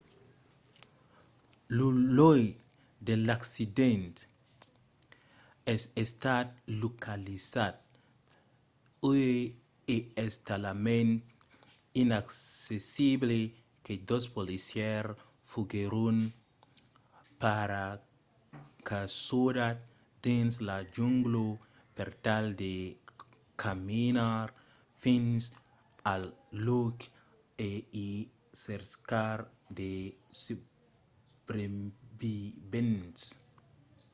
lo lòc de l'accident es estat localizat uèi e es talament inaccessible que dos policièrs foguèron paracasudats dins la jungla per tal de caminar fins al lòc e i cercar de subrevivents